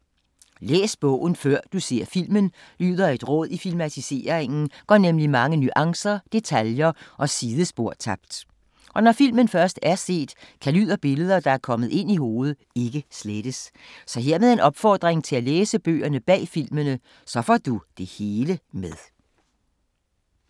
Læs bogen før du ser filmen lyder et råd. I filmatiseringen går mange nuancer, detaljer og sidespor tabt. Og når filmen først er set, kan lyd og billeder, der er kommet ind i hovedet, ikke slettes. Så hermed en opfordring til at læse bøgerne bag filmene. Så får du det hele med!